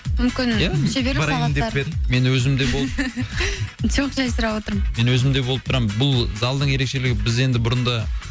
мүмкін ия шеберлік сабақтар мен өзім де болып жоқ жай сұрап отырмын мен өзім де болып тұрамын бұл залдың ерекшелігі біз енді бұрын да